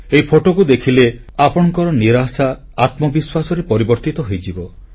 ଏହି ଫଟୋକୁ ଦେଖିଲେ ଆପଣଙ୍କର ନିରାଶା ଆତ୍ମବିଶ୍ୱାସରେ ପରିବର୍ତ୍ତିତ ହୋଇଯିବ